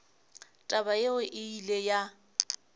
taba yeo e ile ya